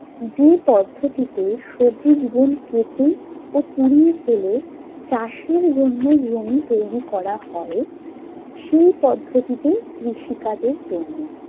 যে পদ্ধতিতে সবুজ বন কেটে ও পুড়িয়ে ফেলে চাষের জন্য জমি তৈরী করা হয়, সেই পদ্ধতিতে কৃষিকাজের জন্য।